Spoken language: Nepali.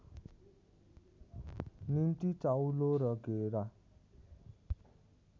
निम्ति चाउलो र घेरा